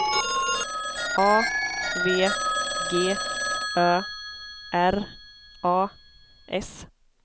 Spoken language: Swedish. A V G Ö R A S